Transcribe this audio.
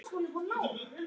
Og þar voru farmenn frá